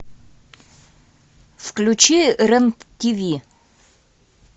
включи рен тиви